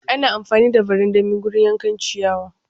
Ana amfani da barandami wurin yanka ciyawa.